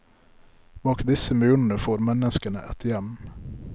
Bak disse murene får menneskene et hjem.